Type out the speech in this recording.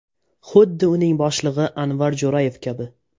Xuddi uning boshlig‘i Anvar Jo‘rayev kabi.